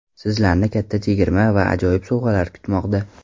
Sizlarni katta chegirma va ajoyib sovg‘alar kutmoqda.